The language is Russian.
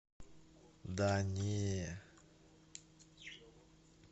да не